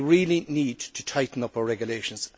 We really need to tighten up our regulations.